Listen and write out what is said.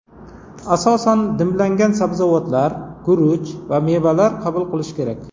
Asosan dimlangan sabzavotlar, guruch va mevalar qabul qilish kerak.